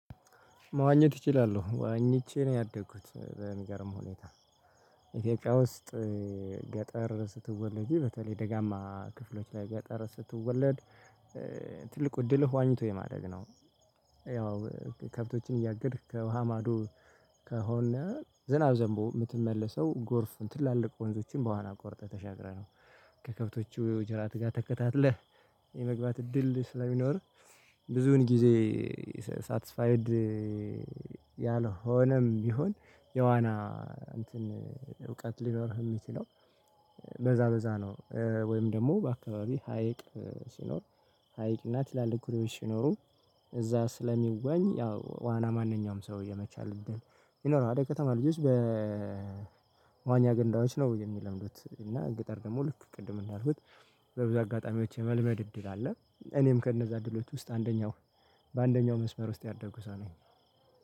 መዋኘት እችላሎው ዋኝቼ ነው ያደግኩት በሚገርም ሁኔታ ኢትዮጵያ ውስጥ ገጠር ስትወለጂ በተለይ ደጋማ ክፍሎች ላይ ገጠር ስትወለድ። ትልቁ እድልህ ዋኝቶ የማድረግ ነው። ያው ከብቶችን እያገድክ ከውሃ ማዶ ከሆነ ዝናብ ዘንቦ የምትመለሰው ጎርፍ ትላልቅ ወንዞችን በዋና ቆርጠህ ተሻግረህ ነው። ከከብቶቹ ጅራት ጋር ተከታትለህ የመግባት እድል ስለሚኖር ብዙን ጊዜ ሳትስፋይድ ያልሆነም ቢሆን የዋና እንትን እውቀት ሊኖርህ የሚችለው። በዛ በዛ ነው ወይም ደግሞ በአካባቢ ሀይቅ ሲኖር ሀይቅና ትላልቅ ኩሬዎች ሲኖሩ እዛ ስለሚዋኝ ያው ዋና ማንኛውም ሰው የመቻል እድል ይኖራል። የከተማ ልጆች በ በመዋኛ ገንዳዎች ነው የሚለምዱት እና ገጠር ደግሞ ልክ ቅድም እንዳልኩት በብዙ አጋጣሚዎች የመልመድ እድል አለ። እኔም ከእነዛ እድሎች ውስጥ አንደኛው በአንደኛው መስመር ውስጥ ያደኩ ሰው ነኝ